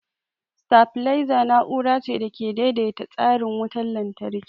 Sitabileza na'ura ce da ke daidaita tsarin wutar lantarki.